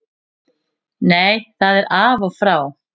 Nei það er af og frá.